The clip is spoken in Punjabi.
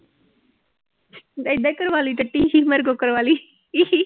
ਏਦਾਂ ਹੀ ਕਰਵਾ ਲਈ ਮੇਰੇ ਕੋਲੋਂ ਕਰਵਾ ਲਈ